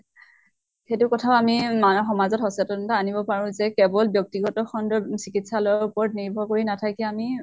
সিটো কথা আমি মানৱ সমাজত সচেতনতা আনিব পাৰো যে কেৱল ব্য়ক্তি খন্ডৰ চিকিৎসালয়ৰ উপৰত নিৰ্ভৰ কৰি নাথাকি আমি